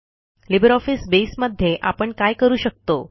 LibreOffice Base मध्ये आपण काय करू शकतो